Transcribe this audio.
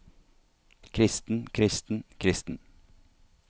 kristen kristen kristen